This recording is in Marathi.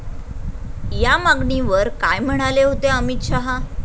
या मागणीवर काय म्हणाले होते अमित शहा?